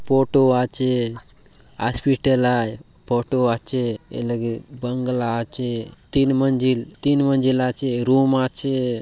फोटो आचे हॉस्पिटल आय फोटो आचे ए लगे बंगला आचे तीन मंजिल तीन मंजिल आचे रूम आचे।